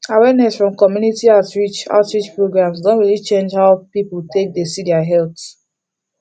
awareness from community outreach outreach programs don really change how people take dey see their health